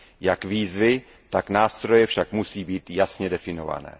Jak výzvy, tak nástroje však musí být jasně definovány.